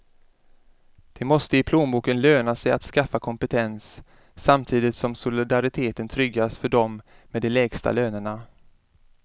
Det måste i plånboken löna sig att skaffa kompetens, samtidigt som solidariteten tryggas för dem med de lägsta lönerna.